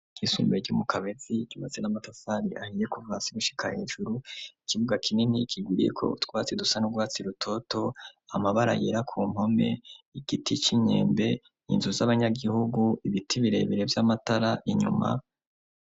Ishure ryisumbuye ryo mu kabezi yubatse n'amatasali ahiye kuvasigushika hejuru ikibuga kinini kiguriye ko twatsi dusa nuguatsi rutoto amabara yera ku mpome igiti cy'inkembe inzu z'abanyagihugu ibiti birebere by'amatara inyuma.